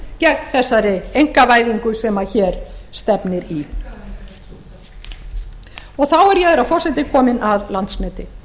gegn þessari einkavæðingu sem hér stefnir í þá er ég herra forseti komin að landsneti